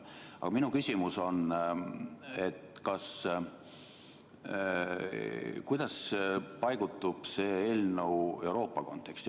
Aga minu küsimus on, et kuidas see eelnõu paigutub Euroopa konteksti.